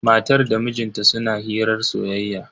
Matan da mijin ta suna hirar soyayya.